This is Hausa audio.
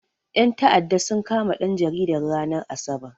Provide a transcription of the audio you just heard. Ƴan ta'addan sun kama ɗan jaridan, ranar asabar.